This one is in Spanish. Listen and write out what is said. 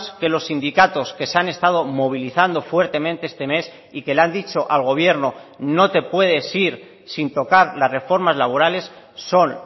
que los sindicatos que se han estado movilizando fuertemente este mes y que le han dicho al gobierno no te puedes ir sin tocar las reformas laborales son